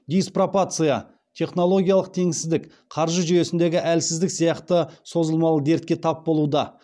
диспропорция технологиялық теңсіздік қаржы жүйесіндегі әлсіздік сияқты созылмалы дертке тап болуда